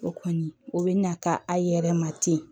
O kɔni o bɛ na ka a yɛrɛ ma ten